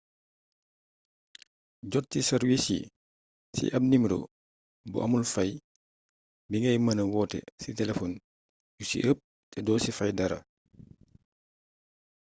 jot ci sàrwiis yii ci ab nimero bu amul fay bi ngay mëna woote ci telefon yu ci ëpp te doo ci fay dara